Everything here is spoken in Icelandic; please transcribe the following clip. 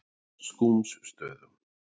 Skúmsstöðum